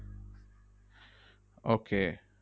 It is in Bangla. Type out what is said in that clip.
Okay